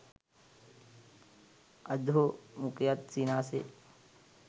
අධෝ මුඛයත් සිනාසේ